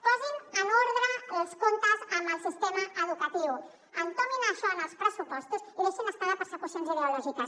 posin en ordre els comptes amb el sistema educatiu entomin això en els pressupostos i deixin se estar de persecucions ideològiques